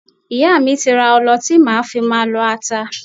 Ìyá mi ti ra ọlọ tí màá fi máa lọ ata.